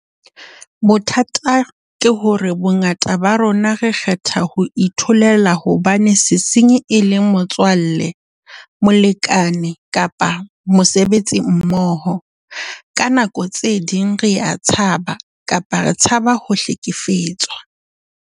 Bothata ke hore bongata ba rona re kgetha ho itholela hobane sesenyi e le motswalle, molekane kapa mosebetsimmoho. Ka nako tse ding rea tshaba kapa re tshaba ho hlekefetswa.